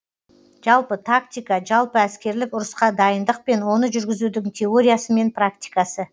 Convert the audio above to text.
жалпы тактика жалпы әскерлік ұрысқа дайындық пен оны жургізудің теориясы мен практикасы